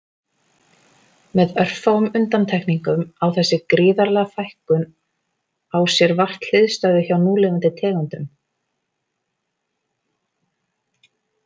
Með örfáum undantekningum á þessi gríðarlega fækkun á sér vart hliðstæðu hjá núlifandi tegundum.